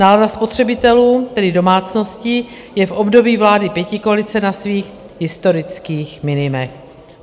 Nálada spotřebitelů, tedy domácností, je v období vlády pětikoalice na svých historických minimech.